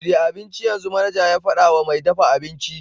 Shirya abincin yanzu!' manaja ya faɗa wa mai dafa abinci.